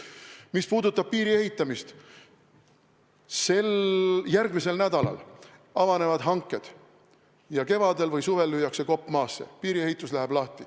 Mis puudutab piiri ehitamist, siis järgmisel nädalal avanevad hanked ja kevadel või suvel lüüakse kopp maasse ning piiriehitus läheb lahti.